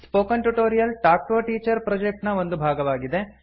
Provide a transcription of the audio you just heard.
spoken tutorial talk to a teacher project ನ ಒಂದು ಭಾಗವಾಗಿದೆ